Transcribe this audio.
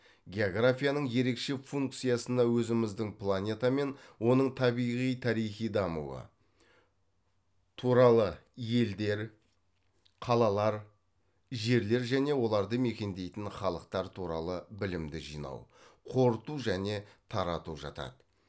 географияның ерекше функциясына өзіміздің планета мен оның табиғи тарихи дамуы туралы елдер қалалар жерлер және оларды мекендейтін халықтар туралы білімді жинау қорыту және тарату жатады